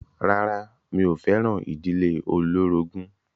Rárá mi ò fẹ́ràn ìdílé olórogún.